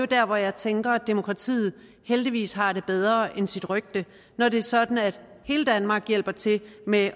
der hvor jeg tænker at demokratiet heldigvis har det bedre end sit rygte når det er sådan at hele danmark hjælper til med